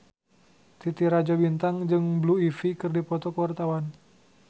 Titi Rajo Bintang jeung Blue Ivy keur dipoto ku wartawan